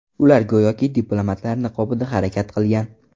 Ular go‘yoki diplomatlar niqobida harakat qilgan.